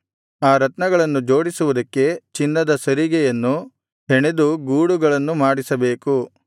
ಆ ರತ್ನಗಳನ್ನು ಜೋಡಿಸುವುದಕ್ಕೆ ಚಿನ್ನದ ಸರಿಗೆಯನ್ನು ಹೆಣೆದು ಗೂಡುಗಳನ್ನು ಮಾಡಿಸಬೇಕು